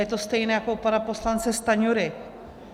Je to stejné jako u pana poslance Stanjury.